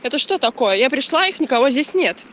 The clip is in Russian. это что такое я пришла их никого здесь нет